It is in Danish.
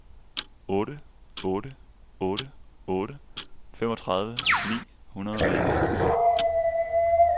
otte otte otte otte femogtredive ni hundrede og enogfirs